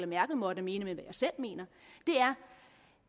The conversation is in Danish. merkel måtte mene men hvad jeg selv mener er